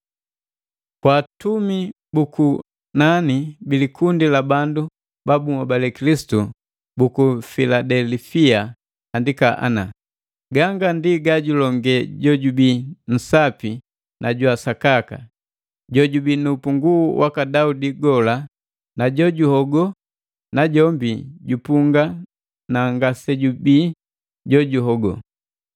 “Kwa atumi bu kunani bi likundi la bandu babunhobali Kilisitu buku Filadelifia andika ana.” “Ganga ndi gajulonge jojubii nsapi na jwa sakaka, jojubii nu upunguu waka Daudi gola na jojuhogo najombi jupunga na ngasejubii jojuhogo.